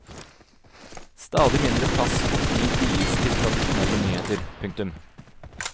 Stadig mindre plass og tid vies til tradisjonelle nyheter. punktum